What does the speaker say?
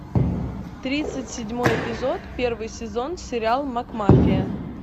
тридцать седьмой эпизод первый сезон сериал макмафия